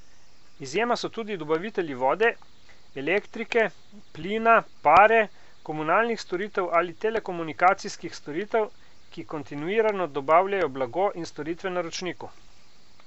Izjema so tudi dobavitelji vode, elektrike, plina, pare, komunalnih storitev ali telekomunikacijskih storitev, ki kontinuirano dobavljajo blago in storitve naročniku.